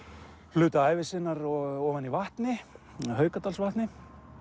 hluta ævi sinnar ofan í vatni vatni